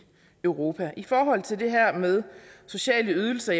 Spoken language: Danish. europa i forhold til det her med sociale ydelser